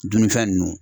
Dunnifɛn nunnu